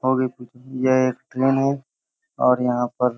और भी पूछो ये एक ट्रैन है और यहाँ पर --